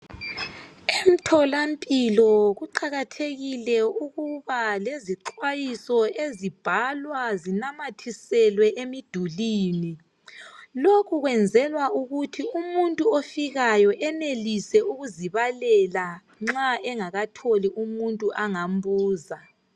Emtholampilo kuqakathekile ukuba lezixwayiso ezibhalwa zinamathiselwe emidulini. Lokhu kwenzelwa ukuthi umuntu ofikayo enelise ukuzibalela nxa engakatholi umuntu angambuza.